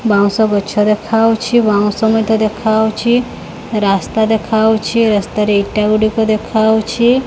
ବାଉଁଶ ଗଛ ଦେଖାହଉଛି ବାଉଁଶ ମଧ୍ୟ ଦେଖାହଉଛି ରାସ୍ତା ଦେଖାହଉଛି ରାସ୍ତାରେ ଇଟା ଗୁଡ଼ିକ ଦେଖାହଉଛି।